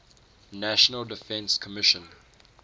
national defense commission